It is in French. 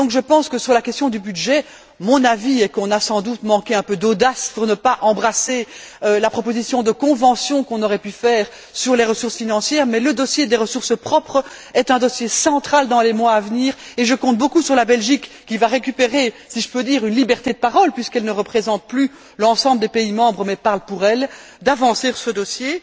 Et donc, sur la question du budget, mon avis est qu'on a sans doute manqué un peu d'audace en n'embrassant pas la proposition de convention qu'on aurait pu faire sur les ressources financières, mais le dossier des ressources propres est un dossier central dans les mois à venir et je compte beaucoup sur la Belgique qui va récupérer, si je peux dire, une liberté de parole, puisqu'elle ne représente plus l'ensemble des pays membres mais parle pour elle pour faire avancer ce dossier.